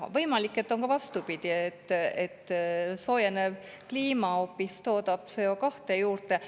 Võimalik, et on ka vastupidi: soojenev kliima hoopis toodab CO2 juurde.